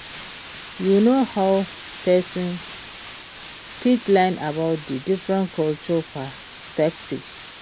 you know how pesin fit learn about di different cultural perspectives?